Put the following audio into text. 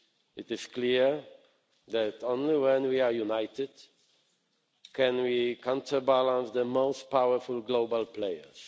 It is clear that only when we are united can we counterbalance the most powerful global players.